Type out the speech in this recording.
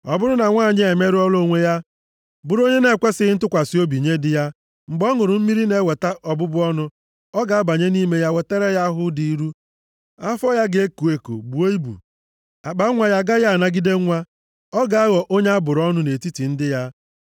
Ọ bụrụ na nwanyị a emerụọla onwe ya, bụrụ onye na-ekwesighị ntụkwasị obi nye di ya, mgbe ọ ṅụrụ mmiri na-eweta ọbụbụ ọnụ, ọ ga-abanye nʼime ya wetara ya ahụhụ dị ilu. Afọ ya ga-eko, buo ibu, + 5:27 Afọ ya ga-aza aza akpanwa ya a gaghị anagide nwa. Ọ ga-aghọ onye a bụrụ ọnụ nʼetiti ndị ya.